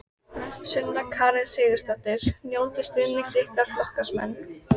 Sunna Karen Sigurþórsdóttir: Njótiði stuðnings ykkar flokksmanna?